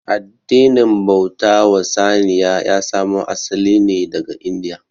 Addinin bauta wa saniya ya samo asali ne daga india